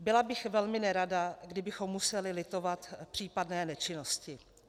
Byla bych velmi nerada, kdybychom museli litovat případné nečinnosti.